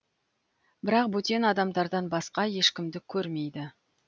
бірақ бөтен адамдардан басқа ешкімді көрмейді